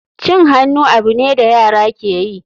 Cin hannu abu ne da yara ke yi.